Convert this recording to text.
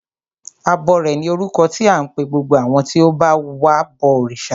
Abọrẹ̀ ni orúkọ tí à ń pe gbogbo àwọn tí ó ń ba wa bọ òrìṣà.